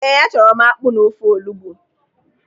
Ee, achọrọ m akpụ na ofe olugbu.